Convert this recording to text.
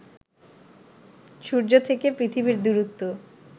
সূর্য থেকে পৃথিবীর দূরত্ব